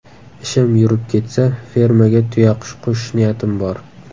Ishim yurib ketsa, fermaga tuyaqush qo‘shish niyatim bor.